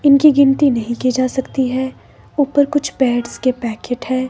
इनकी गिनती नही की जा सकती हैं ऊपर कुछ ब्रेड्स के पैकेट हैं।